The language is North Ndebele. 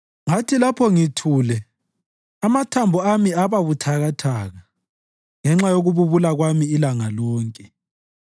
Ngathi lapho ngithule, amathambo ami ababuthakathaka ngenxa yokububula kwami ilanga lonke.